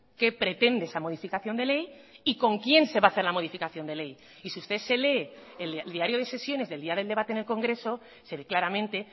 qué pretende esa modificación de ley y con quién se va a hacer la modificación de ley y si usted se lee el diario de sesiones del día del debate en el congreso se ve claramente